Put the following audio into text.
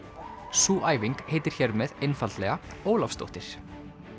sú æfing heitir hér með einfaldlega Ólafsdóttir